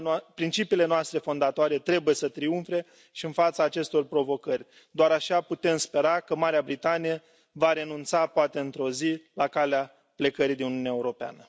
Principiile noastre fondatoare trebuie să triumfe și în fața acestor provocări. Doar așa putem spera că Marea Britanie va renunța poate într o zi la calea plecării din Uniunea Europeană.